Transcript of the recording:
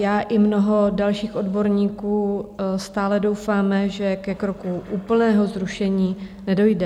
Já i mnoho dalších odborníků stále doufáme, že ke kroku úplného zrušení nedojde.